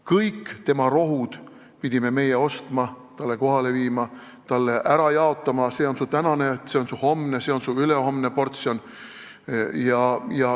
Kõik rohud pidime meie talle ostma, kohale viima, ära jaotama ja ütlema, et see on su tänane, see on su homne, see on su ülehomne portsjon.